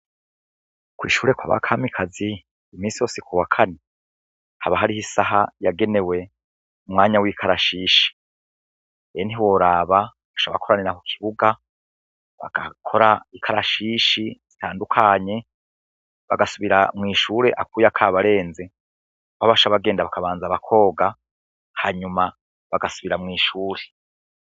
Ku ishure kwa ba Kamikazi iminsi yose ku wa kane haba hariho isaha yagenewe umwanya w'ikarashishi, rero ntiworaba bashobora gukoranira ku kibuga bagakora ikarashishi zitandukanye bagasubira mu ishure akuya kabarenze, aho baca bagenda bakabanza bakoga, hanyuma bagasubira mu ishure.